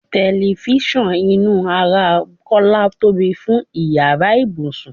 Telifisan inú ara Kọ́lá tóbi fún ìyára ibùsùn.